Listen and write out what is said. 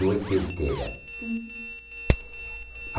Não é que eu queira. Hum